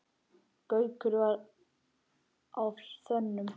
Gaukur var á þönum.